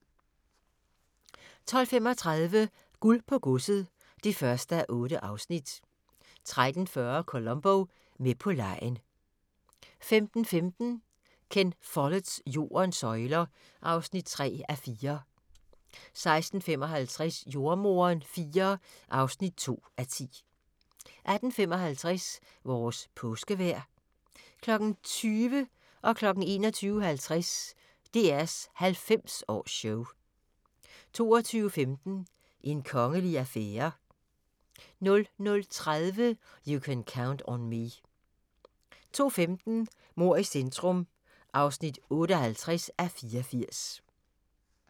12:35: Guld på godset (1:8) 13:40: Columbo: Med på legen 15:15: Ken Folletts Jordens søjler (3:4) 16:55: Jordemoderen IV (2:10) 18:55: Vores Påskevejr 20:00: DR's 90-års-show 21:50: DR's 90-års-show 22:15: En kongelig affære 00:30: You Can Count on Me 02:15: Mord i centrum (58:84)